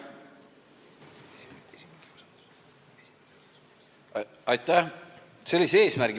Aitäh!